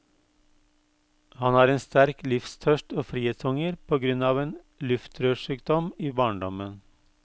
Han har en sterk livstørst og frihetshunger på grunn av en luftrørssykdom i barndommen.